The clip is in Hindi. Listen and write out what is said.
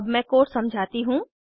अब मैं कोड समझाती हूँ